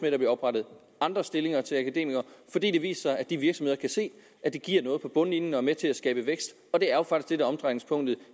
at der bliver oprettet andre stillinger til akademikere fordi det viser sig at de virksomheder kan se at det giver noget på bundlinjen og er med til at skabe vækst og det er jo faktisk er omdrejningspunktet